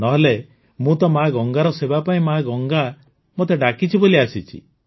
ନ ହେଲେ ମୁଁ ତ ମା ଗଙ୍ଗାର ସେବା ପାଇଁ ମା ଗଙ୍ଗା ମୋତେ ଡାକିଛି ବୋଲି ଆସିଛି